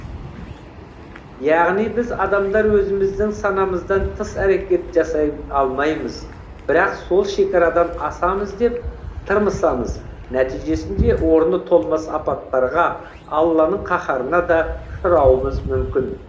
яғни біз адамдар өзіміздің санамыздан тыс әрекет жасай алмаймыз бірақ сол шекарадан асамыз деп тырмысамыз нәтижесінде орны толмас апаттарға алланың қаһарына да ұшырауымыз мүмкін